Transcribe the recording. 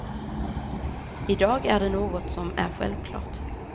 I dag är det något som är självklart.